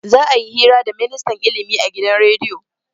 Za'a yi hira da ministan ilimi a gidan rediyo.